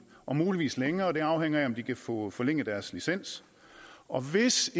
og muligvis længere det afhænger af om de kan få forlænget deres licens og hvis